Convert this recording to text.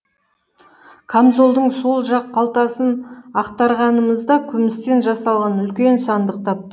камзолдың сол жақ қалтасын ақтарғанымызда күмістен жасалған үлкен сандық таптық